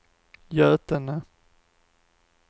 Götene